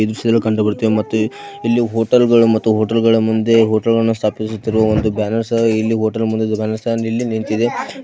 ಇದು ಕಂಡುಬರುತ್ತೆ ಮತ್ತು ಎಲ್ಲಿ ಹೋಟೆಲ್ಗಳು ಮತ್ತು ಹೋಟೆಲ್ಗಳ ಮುಂದೆ ಹೋಟೆಲ್ಲನ್ನು ಸ್ಥಾಪಿಸುತ್ತಿರುವ ಒಂದು ಬ್ಯಾನೆರ್ ಸಹ ಇಲ್ಲಿ ಹೋಟೆಲ್ ಮುಂದೆ ಕಾಣಿಸ್ತಾಇದೆ ಇಲ್ಲಿ ನಿಂತಿದೆ .